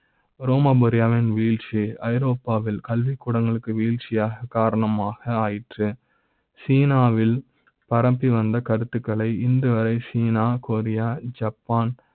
ரோமாபுரி வின் வில்ட்சி ஐரோப்பா வில் கல்விக் கூட ங்களுக்கு வீழ்ச்சி யாக காரணமா ஆயிற்று சினா வில் பரப்பி வந்த கருத்துகளை இதுவரை சீனா, கொரியா, ஜப்பா ன்